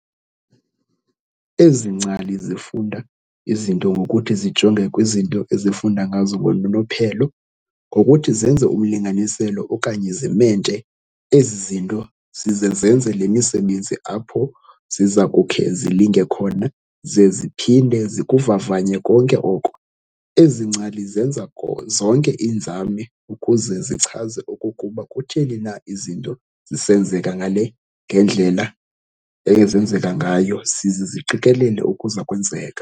Ezi ngcali zifunda izinto ngokuthi zijonge kwizinto ezifunda ngazo ngononophelo, ngokuthi zenze umlinganiselo okanye zimente ezi zinto, zize zenze le misebenzi apho ziza kukhe zilinge khona ze ziphinde zikuvavanye konke oko. Ezi ngcali zenza zonke iinzame ukuze zichaze okokuba kutheni na izinto zisenzeka ngale ngendlela ezenzeka ngayo, zize ziqikelele okuzakwenzeka.